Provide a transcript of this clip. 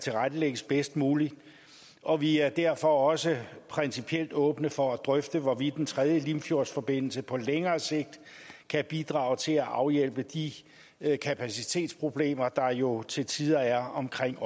tilrettelægges bedst muligt og vi er derfor også principielt åbne for at drøfte hvorvidt en tredje limfjordsforbindelse på længere sigt kan bidrage til at afhjælpe de kapacitetsproblemer der jo til tider er omkring